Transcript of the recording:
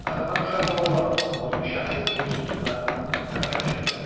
Axı mən uşaq ola-ola onun şəxsi uğursuzluqlarından nə başa düşə bilərdim?